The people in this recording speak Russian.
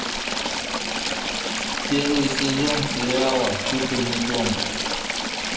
первый сезон сериала кукольный дом